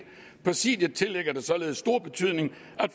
præsidiet tillægger det således stor betydning